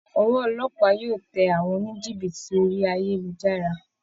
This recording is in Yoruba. Ọwọ́ olópàá yóò tẹ àwọn oníjìbìtì orí ayélujára